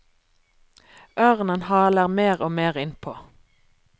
Ørnen haler mer og mer innpå.